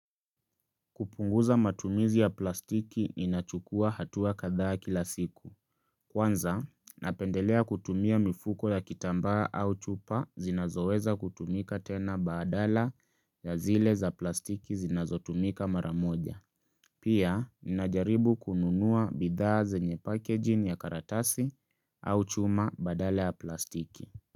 Kupunguza matumizi ya plastiki ni nachukua hatua kadha kila siku. Kwanza, napendelea kutumia mifuko ya kitamba au chupa zinazoweza kutumika tena badala ya zile za plastiki zinazotumika maramoja. Pia, ninajaribu kununua bidhaa zenye packaging ya karatasi au chuma badala ya plastiki.